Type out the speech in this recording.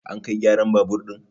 an kai gyaran babur ɗin!